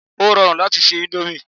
Ó rọrùn láti se índómì